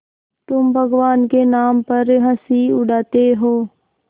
तुम भगवान के नाम पर हँसी उड़ाते हो